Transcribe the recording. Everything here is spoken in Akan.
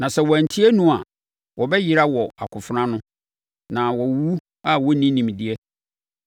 Na sɛ wɔantie no a, wɔbɛyera wɔ akofena ano, na wɔawuwu a wɔnni nimdeɛ.